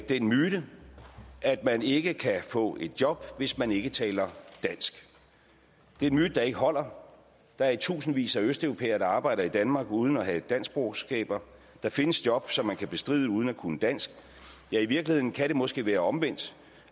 den myte at man ikke kan få et job hvis man ikke taler dansk det er en myte der ikke holder der er i tusindvis af østeuropæere der arbejder i danmark uden at have danskkundskaber der findes job som man kan bestride uden at kunne dansk i virkeligheden kan det måske være omvendt